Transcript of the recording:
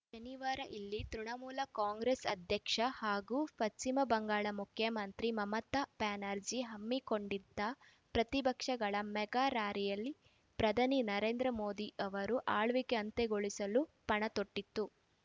ನ ನಿವಾರ ಇಲ್ಲಿ ತೃಣಮೂಲ ಕಾಂಗ್ರೆಸ್‌ ಅಧ್ಯಕ್ಷೆ ಹಾಗೂ ಪಶ್ಚಿಮ ಬಂಗಾಳ ಮುಖ್ಯಮಂತ್ರಿ ಮಮತಾ ಬ್ಯಾನರ್ಜಿ ಹಮ್ಮಿಕೊಂಡಿದ್ದ ಪ್ರತಿಪಕ್ಷಗಳ ಮೆಗಾ ರಾರ‍ಯಲಿ ಪ್ರಧಾನಿ ನರೇಂದ್ರ ಮೋದಿ ಅವರ ಆಳ್ವಿಕೆ ಅಂತ್ಯಗೊಳಿಸಲು ಪಣ ತೊಟ್ಟಿತು